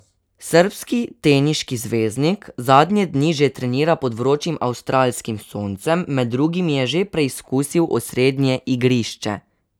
Srbski teniški zvezdnik zadnje dni že trenira pod vročim avstralskim soncem, med drugim je že preizkusil osrednje igrišče.